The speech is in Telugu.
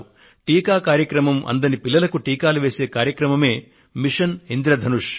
టీకా కార్యక్రమం అందరిన పిల్లలకు టీకాలు వేసే కార్యక్రమమే మిషన్ ఇంద్రధనుష్